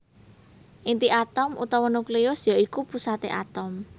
Inti atom utawa nukleus ya iku pusaté atom